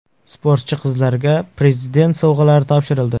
Sportchi qizlarga Prezident sovg‘alari topshirildi.